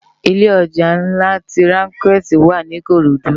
Ilé òjá nlá ti ránkèti wá ni ikorodu